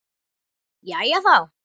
Jæja, þá.